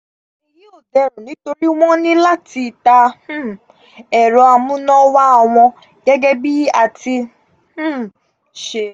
èyí ó derùn nitori wọn ní láti ta um ẹ̀rọ amúnáwá wọn gẹ́gẹ́ bí a ti um ṣe